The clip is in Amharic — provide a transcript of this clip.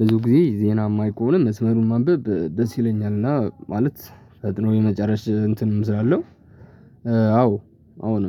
ብዙ ጊዜ ዜና የማይ ከሆነ መስመሩን ማንበብ ደስ ይለኛል። እና ማለት ፈጥኖ የመጨረስ እንትንም ስላለው አሁን